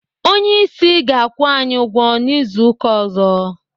Onyeisi ga-akwụ anyị ụgwọ n'izu ụka ọzọ.